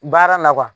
Baara na